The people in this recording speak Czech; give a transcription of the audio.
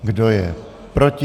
Kdo je proti?